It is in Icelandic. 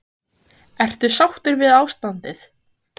Lóa: Ertu sáttur við ástandið?